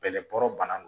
Bɛlɛboɔrɔ bana don